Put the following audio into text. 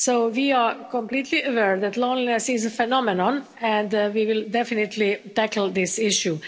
We are completely aware that loneliness is a phenomenon, and we will definitely tackle this issue.